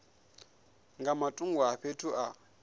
nga matungo a fhethu a